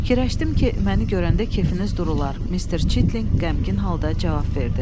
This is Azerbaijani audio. “Fikirləşdim ki, məni görəndə kefiniz durular”, Mister Çitlinq qəmgin halda cavab verdi.